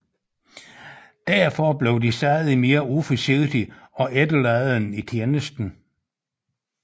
Derfor blev de stadig mere uforsigtige og efterladende i tjenesten